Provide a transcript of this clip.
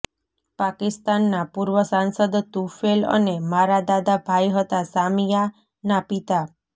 પાકિસ્તાનના પૂર્વ સાંસદ તુફૈલ અને મારા દાદા ભાઈ હતાઃ શામિયાના પિતા